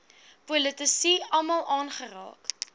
politici almal aangeraak